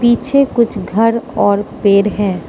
पीछे कुछ घर और पेड़ हैं।